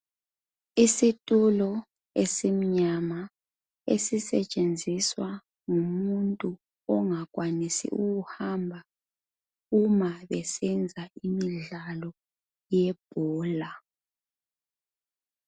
Isitulo esimnyama esisetshenziswa ngumuntu ongakwanisi ukuhamba uma besenza imidlalo yebhola.